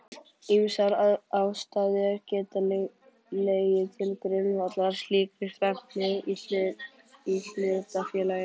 Ýmsar ástæður geta legið til grundvallar slíkri stefnu í hlutafélaginu.